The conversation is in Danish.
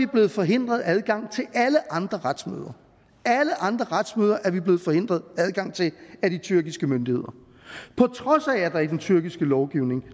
blevet forhindret adgang til alle andre retsmøder alle andre retsmøder er vi blevet forhindret adgang til af de tyrkiske myndigheder på trods af at der i den tyrkiske lovgivning